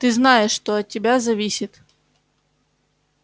ты знаешь что от тебя зависит